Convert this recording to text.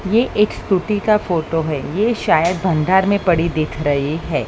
यह एक स्कूटी का फोटो है। ये शायद यह भंडार में पड़ी है।